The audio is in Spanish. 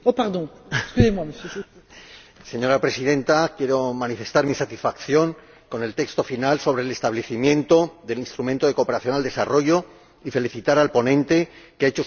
Señora Presidenta, quiero manifestar mi satisfacción con el texto final sobre el establecimiento del Instrumento de Financiación de la Cooperación al Desarrollo y felicitar al ponente, que ha hecho suya la propuesta de la Comisión de Desarrollo.